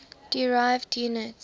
derived units